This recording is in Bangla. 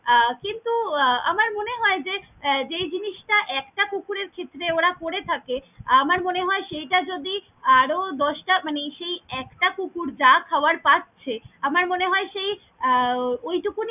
আহ কিন্তু আমার মনে হয় যে যেই জিনিসটা একটা কুকুরের ক্ষেত্রে ওরা করে থাকে আমার মনে হয় সেইটা যদি আরও দশটা মানে সেই একটা কুকুর যা খাবার পাছে, আমার মনে হয় সেই আহ ওই টুকুনি।